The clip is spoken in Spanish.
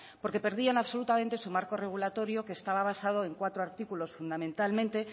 porque perdían absolutamente su marco regulatorio que estaba basado en cuatro artículos fundamentalmente